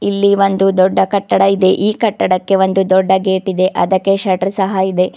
ಇಲ್ಲಿ ಒಂದು ದೊಡ್ಡ ಕಟ್ಟಡ ಇದೆ ಈ ಕಟ್ಟಡಕ್ಕೆ ಒಂದು ದೊಡ್ಡ ಗೇಟಿದೆ ಅದಕ್ಕೆ ಶಟರ್ ಸಹ ಇದೆ.